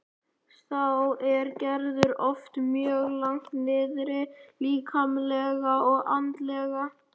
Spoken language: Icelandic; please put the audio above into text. Þá er Gerður oft mjög langt niðri líkamlega og andlega.